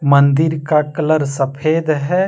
मंदिर का कलर सफेद है।